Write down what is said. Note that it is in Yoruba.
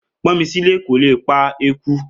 Pọ́nmilé kò lè pa eku